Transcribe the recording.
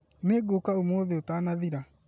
Nĩngũũka ũmũthĩ ũtanathira